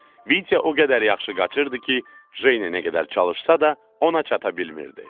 Vitya o qədər yaxşı qaçırdı ki, Jenya nə qədər çalışsa da, ona çata bilmirdi.